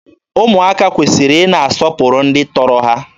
Ụmụaka kwesịrị ị na-asọpụrụ ndị tọrọ ha.